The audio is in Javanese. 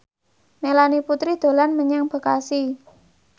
Melanie Putri dolan menyang Bekasi